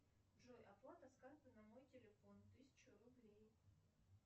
джой оплата с карты на мой телефон тысячу рублей